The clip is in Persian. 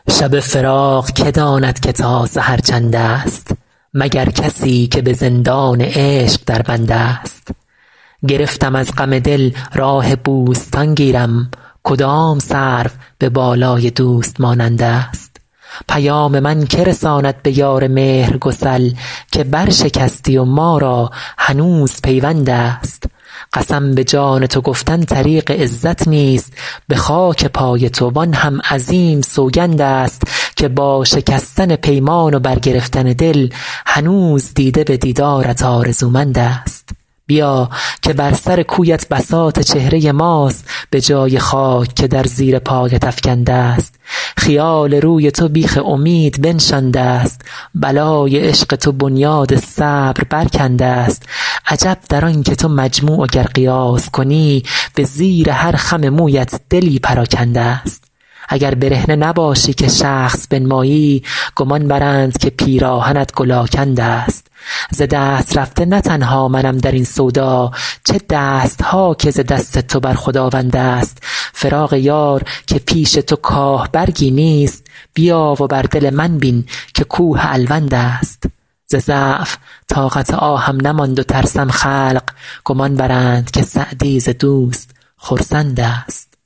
شب فراق که داند که تا سحر چندست مگر کسی که به زندان عشق در بندست گرفتم از غم دل راه بوستان گیرم کدام سرو به بالای دوست مانندست پیام من که رساند به یار مهرگسل که برشکستی و ما را هنوز پیوندست قسم به جان تو گفتن طریق عزت نیست به خاک پای تو وآن هم عظیم سوگندست که با شکستن پیمان و برگرفتن دل هنوز دیده به دیدارت آرزومندست بیا که بر سر کویت بساط چهره ماست به جای خاک که در زیر پایت افکندست خیال روی تو بیخ امید بنشاندست بلای عشق تو بنیاد صبر برکندست عجب در آن که تو مجموع و گر قیاس کنی به زیر هر خم مویت دلی پراکندست اگر برهنه نباشی که شخص بنمایی گمان برند که پیراهنت گل آکندست ز دست رفته نه تنها منم در این سودا چه دست ها که ز دست تو بر خداوندست فراق یار که پیش تو کاه برگی نیست بیا و بر دل من بین که کوه الوندست ز ضعف طاقت آهم نماند و ترسم خلق گمان برند که سعدی ز دوست خرسندست